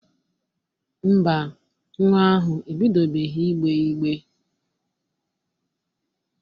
Ḿbà, nwa ahụ ebidobeghi igbe igbe.